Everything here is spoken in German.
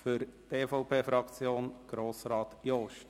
Für die EVP-Fraktion Grossrat Jost.